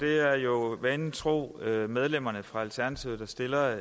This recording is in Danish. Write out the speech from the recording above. er jo vanen tro medlemmerne fra alternativet der stiller